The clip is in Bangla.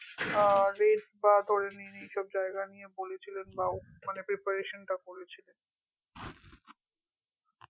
আহ rate বা ধরে নিন বা এইসব জায়গা নিয়ে বলেছিলেন বা preparation টা করেছিলেন